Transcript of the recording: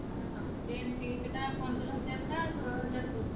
ହଁ Ten T ସେଟା ପନ୍ଦର ହଜାର ନା ଷୋହଳ ହଜାର ପଡୁଛି।